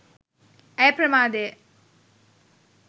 ඇය ප්‍රමාදය.